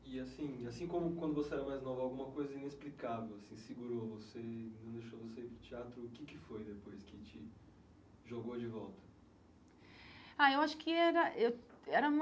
E assim assim como quando você era mais nova, alguma coisa inexplicável assim segurou você, não deixou você ir para o teatro, o que que foi depois que te jogou de volta? Ai eu acho que era eu era uma